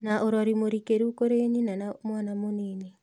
Na ũrori mũrikĩru kũrĩ nyina na mwana mũnini